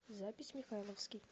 запись михайловский